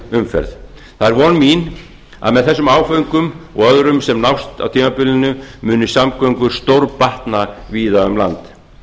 umferð það er von mín að með þessum áföngum og öðrum sem nást á tímabilinu munu samgöngur stórbatna víða um land